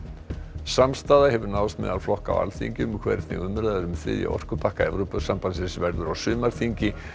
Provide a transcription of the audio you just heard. samstaða hefur náðst meðal flokka á Alþingi um hvernig umræður um þriðja orkupakka Evrópusambandsins verði á sumarþingi